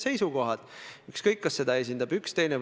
Te vihjasite vabariigi aastapäeva paiku toimunule.